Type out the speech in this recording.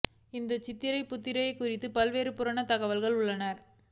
இந்த சித்திர புத்திரரைக் குறித்து பல்வேறு புராண தகவல்கள் உள்ளன